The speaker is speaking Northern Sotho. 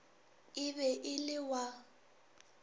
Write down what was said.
e be e le wa